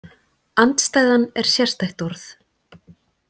Andstæðan er sérstætt orð.